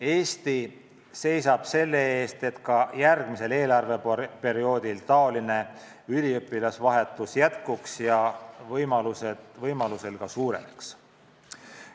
Eesti seisab selle eest, et ka järgmisel eelarveperioodil üliõpilasvahetus jätkuks ja võimaluse korral ka suureneks.